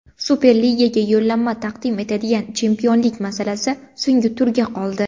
Superligaga yo‘llanma taqdim etadigan chempionlik masalasi so‘nggi turga qoldi.